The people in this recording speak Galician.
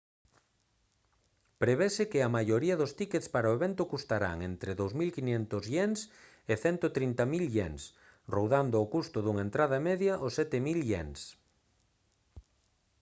prevese que a maioría dos tíckets para o evento custarán entre 2500 ¥ e 130 000 ¥ rondando o custo dunha entrada media os 7000 ¥